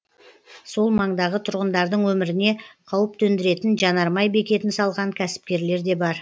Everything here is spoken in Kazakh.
сол маңдағы тұрғындардың өміріне қауіп төндіретін жанармай бекетін салған кәсіпкерлер де бар